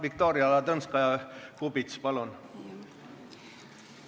Viktoria Ladõnskaja-Kubits, palun!